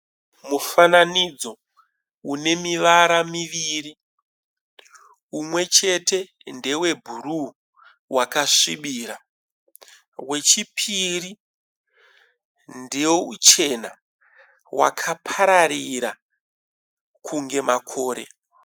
Mufananidzo une mivara miviri, umwe chete ndewe brue wakasvibira, wechipiri ndeuchena wakaparavira kunge makore.